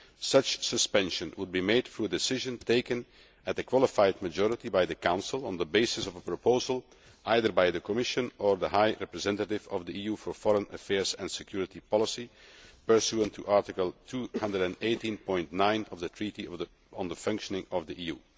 Such suspension would be made through a decision taken under qualified majority by the Council on the basis of a proposal either by the Commission or the High Representative of the EU for Foreign Affairs and Security Policy, pursuant to Article 218 of the Treaty on the Functioning of the EU.